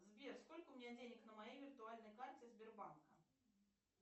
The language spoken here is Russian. сбер сколько у меня денег на моей виртуальной карте сбербанка